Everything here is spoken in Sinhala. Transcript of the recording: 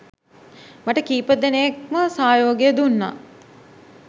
මට කීපදෙනෙක්ම සහයෝගය දුන්නා.